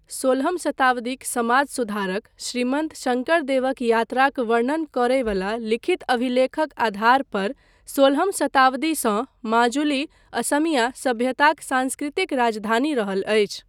सोलहम शताब्दीक समाज सुधारक श्रीमन्त शङ्करदेवक यात्राक वर्णन करय बला लिखित अभिलेखक आधार पर सोलहम शताब्दीसँ माजुली असमिया सभ्यताक सांस्कृतिक राजधानी रहल अछि।